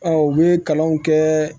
u bɛ kalanw kɛ